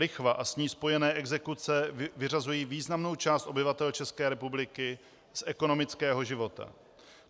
Lichva a s ní spojené exekuce vyřazují významnou část obyvatel České republiky z ekonomického života.